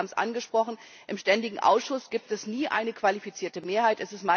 Und genau, Sie haben es angesprochen, im Ständigen Ausschuss gibt es nie eine qualifizierte Mehrheit.